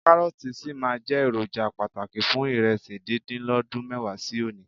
Kárọ́ọ̀tì sì máa jẹ́ èròjà pàtàkì fún ìrẹsì díndín lọ́dún mẹ́wàá sí òní.